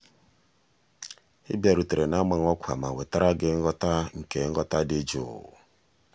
ị bịarutere na-amaghị ọkwa ma wetara gị nghọta nke nghọta dị jụụ.